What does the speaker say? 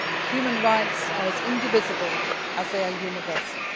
Human rights are as indivisible as they are universal.